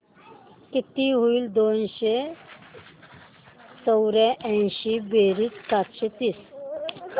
किती होईल दोनशे चौर्याऐंशी बेरीज सातशे तीस